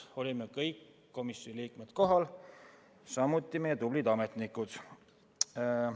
Kohal olid kõik komisjoni liikmed, samuti meie tublid ametnikud.